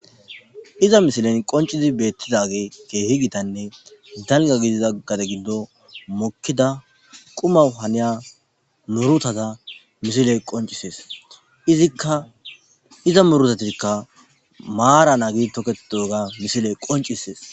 Iza misilen qoncizi beettidage keehi gitanne danga gidizaggata gindo mokkida quma haniya murutata misiley qoncisees ziiza murutatikka maara naagi toketoga misiley qoncissees.